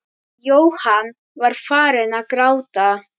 Jóhann var farinn að gráta.